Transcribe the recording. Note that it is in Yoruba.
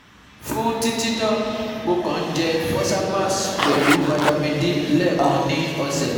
Fún títí náà, mo kàn ń jẹ́ Fosamax pelu Vitamin D lẹ́ẹkan ni ọ̀sẹ̀